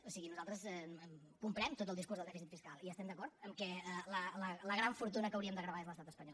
o sigui nosaltres comprem tot el discurs del dèficit fiscal i estem d’acord que la gran fortuna que hauríem de gravar és l’estat espanyol